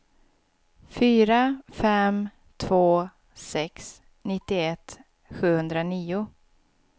fyra fem två sex nittioett sjuhundranio